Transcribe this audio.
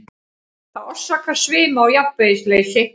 Það orsakar svima og jafnvægisleysi.